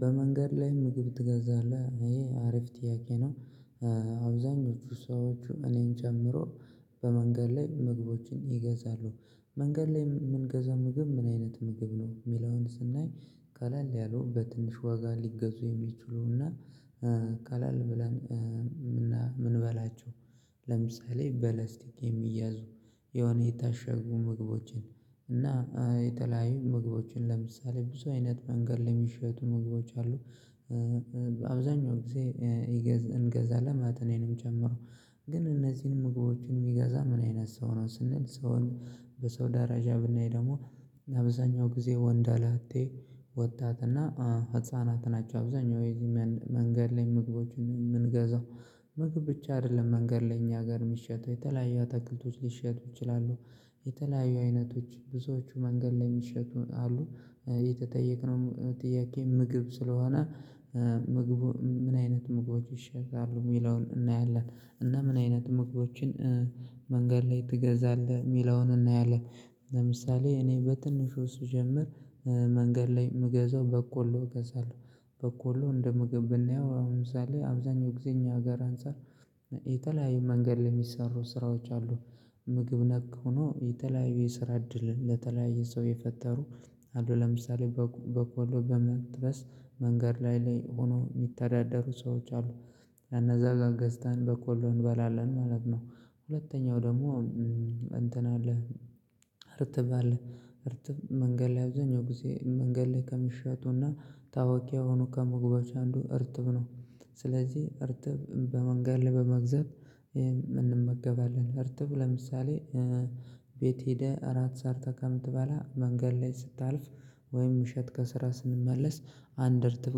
በመንገድ ላይ ምግብ ትገዛለህ? ይሄ አሪፍ ጥያቄ ነው። አብዛኞቹ ሰዎች እኔን ጨምሮ በመንገድ ላይ ምግቦችን ይገዛሉ። መንገድ ላይ የምንገዛው ምግብ ምን አይነት ምግብ ነው የሚለውን ስናይ ቀለል ያለሉ በትንሽ ዋጋ ሊገዙ የሚችሉና ቃላል ብለን ምን ምንበላችሁ ለምሳሌ በለስቲክ የሚያዙ የሆነ የታሸጉ ምግቦችን እና የተለያዩ ምግቦችን ለምሳሌ ብዙ አይነት መንገድ ለሚሸጡ ምግቦች አሉ አብዛኛው ጊዜ ይገ እንገዛለን እኔንም ጨምሮ ግን እነዚህን ምግቦችን የሚገዛ ምን አይነት ሰው ነው ስንል ሰውን በሰው ዳራጃ ብናይ ደግሞ አብዛኛው ጊዜ ወንደ ላጤ ወጣትና ህፃናት ናቸው አብዛኛው ጊዜ መንገድ ላይ ምግቦችን የምንገዛው ምግብ ብቻ አይደለም መንገድ ላይ እኛ ሀገር የሚሸጠው የተለያዩ አትክልቶች ሊሸጡ ይችላሉ የተለያዩ አይነቶች ብዙዎቹ መንገድ ላይ የሚሸጡ አሉ የተጠየቅነው ጥያቄ ምግብ ስለሆነ ምግቡ ምን አይነት ምግቦች ይሸጣሉ የሚለውን እናያለን እና ምን አይነት ምግቦችን መንገድ ላይ ትገዛለህ የሚለውን እናያለን ለምሳሌ እኔ በትንሹ ስጀምር መንገድ ላይ የምገዛው በቆሎ እገዛለሁ። በቆሎ እንደ ምግብ ብናየው ለምሳሌ አብዛኛው ጊዜ እኛ ሀገር አንፃር የተለያዩ መንገድ ለሚሰሩ ስራዎች አሉ ምግብ ነክ ሆኖ የተለያዩ የስራ እድል ለተለያዩ ሰው የፈጠሩ አሉ ለምሳሌ በቆሎ በመጥብስ መንገድ ላይ ላይ ሆኖ የሚተዳደሩ ሰዎች አሉ። ኼነዛ ጋር ገዝተን በቆሎ እንበላለን ማለት ነው። ሁለተኛው ደግሞ እንትን አለህ እርጥብ አለህ እርጥብ መንገድ ላይ አብዛኛውን ጊዜ መንገድ ላይ ከሚሸጡና ታዋቂ የሆኑ ከምግቦች አንዱ እርትብ ነው ስለዚህ እርጥብ በመንገድ ላይ በመግዛት እንመገባለን እርጥብ ለምሳሌ ቤት ሄደህ እራት ሰርተህ ከምትበላ መንገድ ላይ ስታልፍ ወይም እሸት ከስራ ስንመለስ አንድ እርትፍ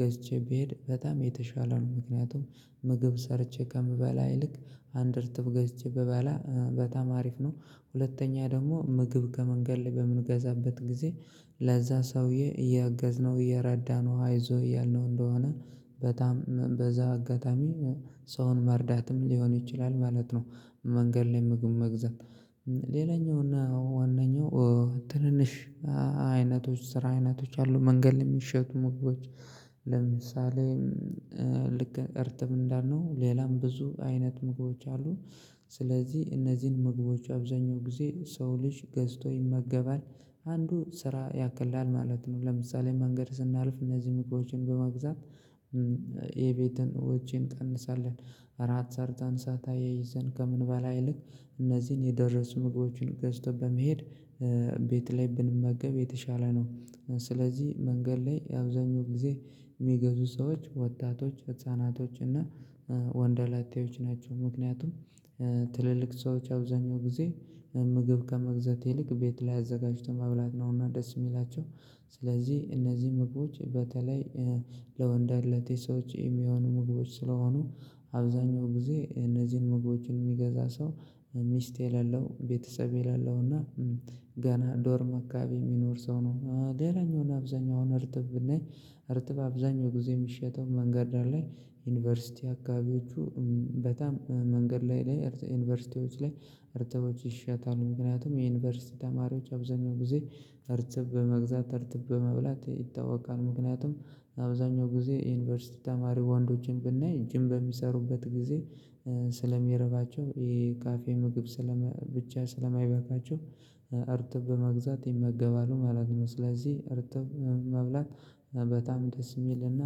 ገዝቼ ብሄድ በጣም የተሻለ ነው ምክንያቱም ምግብ ሰርቼ ከምበላ ይልቅ አንድ እርጥብ ገዝቼ ብበላ በጣም አሪፍ ነው ሁለተኛ ደግሞ ምግብ ከመንገድ ላይ በምንገዛበት ጊዜ ለዛ ሰውዬ እያገዝነው እየረዳነው አይዞህ እያልነው እንደሆነ በጣም በዛ አጋጣሚ ሰውን መርዳትም ሊሆን ይችላል ማለት ነው መንገድ ላይ ምግብ መግዛት ሌላኛው ነው ዋነኛው ትንንሽ አይነቶች ስራ አይነቶች አሉ መንገድ የሚሸጡ ምግቦች ለምሳሌ ልክ እርጥብ እንዳልነው ሌላም ብዙ አይነት ምግቦች አሉ። ስለዚህ እነዚህን ምግቦች አብዛኛው ጊዜ ሰው ልጅ ገዝቶ ይመገባል አንዱ ስራ ያቀላል ማለት ነው ለምሳሌ መንገድ ስናልፍ እነዚህን በመግዛት የቤትን ወጪን እንቀንሳለን አራት ሰርታን እሳት አያይዘን ከምንበላ ይልቅ ልክ እነዚህን የደረሱ ምግቦችን ገዝቶ በመሄድ ቤት ላይ ብንመገብ የተሻለ ነው ስለዚህ መንገድ ላይ አብዛኛውን ጊዜ የሚገዙ ሰዎች ወጣቶች ህፃናቶች እና ወንደላጤዎች ናቸው ምክንያቱም ትልልቅ ሰዎች አብዛኛው ጊዜ ምግብ ከመግዛት ይልቅ ቤት ላይ አዘጋጅቶ መብላት ነውና ደስ የሚላቸው ስለዚህ እነዚህ ምግቦች በተለይ ለወንደላጤ ሰዎች የሚሆኑ ምግቦች ስለሆኑ አብዛኛው ጊዜ እነዚህን መግቦችን የሚገዛ ሰው ሚስት የሌለው ቤተሰብ የሌለውና ገና ዶርም አካባቢ የሚኖር ሰው ነው ሌላኛውና አብዛኛው አሁን እርጥብ ብናይ እርጥብ አብዛኛው ጊዜ የሚሸተው መንገድ ላይ ዩኒቨርሲቲ አካባቢዎቹ በጣም መንገድ ላይ ላይ ዩኒቨርሲቲዎች ላይ እርጥቦች ይሸጣሉ ምክንያቱም የዩኒቨርሲቲ ተማሪዎች አብዛኛው ጊዜ እርጥብ በመግዛት እርጥብ በመብላት ይታወቃሉ። ምክንያቱም አብዛኛው ጊዜ የዩኒቨርሲቲ ተማሪ ወንዶችን ብናይ ጂም በሚሰሩበት ጊዜ ስለሚርባቸው የ ካፌ ምግብ ስለ ብቻ ስለማይበቃቸው እርጥብ በመግዛት ይመገባሉ ማለት ነው ስለዚህ አርትብ መብላት በጣም ደስ የሚልና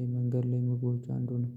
የመንገድ ላይ ምግቦች አንዱ ነው